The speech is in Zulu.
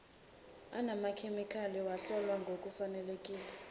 anamakhemikhali lahlolwa ngokufaneleka